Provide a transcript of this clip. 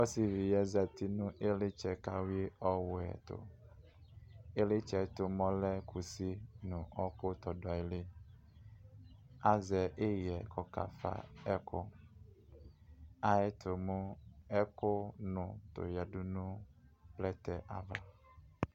ɔsiviyɛ zati nu ilitsɛ kawhui ɔwɛɛtʋ ilɛtsɛtʋ mɛ ɔlɛ kʋsi nʋ ɔkʋ tɔdʋali azɛ ihɛ kɔkafa ɛkʋ ayɛtʋ mʋ ɛkʋ nʋʋ toɔyadʋ nʋ plɛtɛ ava